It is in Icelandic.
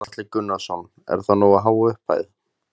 Gunnar Atli Gunnarsson: Er það nógu há upphæð?